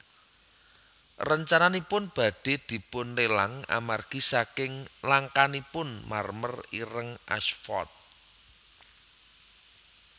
Rencananipun badhé dipunlelang amargi saking langkanipun marmer ireng Ashford